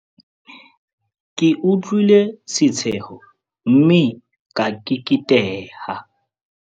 Ke utlwile setsheho mme ka keketeha.